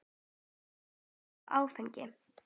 Ekki drekka áfengi.